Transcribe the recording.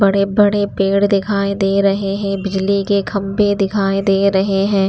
बड़े-बड़े पेड़ दिखाई दे रहे हैं बिजली के खंबे दिखाई दे रहे हैं।